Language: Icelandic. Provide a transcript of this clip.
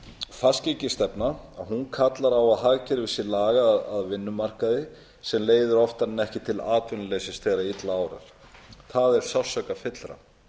fastgengisstefna kallar á að hagkerfið sé lagað að vinnumarkaði sem leiðir oftar en ekki til atvinnuleysis þegar illa árar það er sársaukafyllra